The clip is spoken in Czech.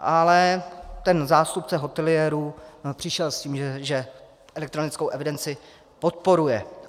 Ale ten zástupce hoteliérů přišel s tím, že elektronickou evidenci podporuje.